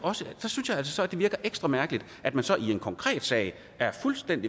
altså det virker ekstra mærkeligt at man så i en konkret sag